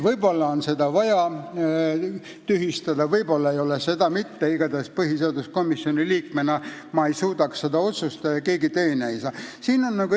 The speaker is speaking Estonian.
Võib-olla on seda vaja tühistada, võib-olla ei ole seda mitte vaja, igatahes põhiseaduskomisjoni liikmena ei suudaks ma seda otsustada ja keegi teine ka ei suudaks.